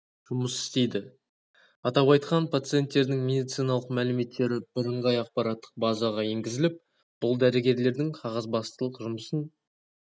жұмыс істейді атап айтқанда пациенттердің медициналық мәліметтері бірыңғай ақпараттық базаға енгізіліп бұл дәрігерлердің қағазбастылық жұмысын